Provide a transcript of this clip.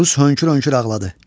Oruz hönkür-hönkür ağladı.